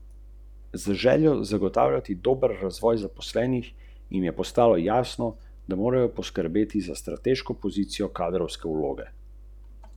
Dihaj.